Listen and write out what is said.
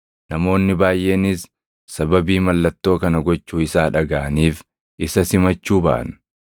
Namoonni baayʼeenis sababii mallattoo kana gochuu isaa dhagaʼaniif isa simachuu baʼan.